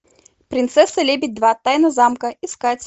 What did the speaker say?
принцесса лебедь два тайна замка искать